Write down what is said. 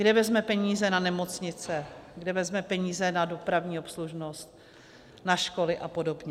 Kde vezme peníze na nemocnice, kde vezme peníze na dopravní obslužnost, na školy a podobně?